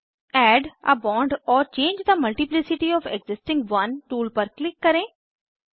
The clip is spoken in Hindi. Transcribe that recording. add a bond or change the multiplicity of existing one tool पर क्लिक करें